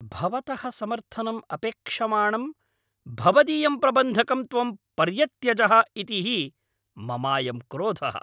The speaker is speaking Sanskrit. भवतः समर्थनम् अपेक्षमाणं भवदीयं प्रबन्धकं त्वं पर्यत्यजः इति हि ममायं क्रोधः।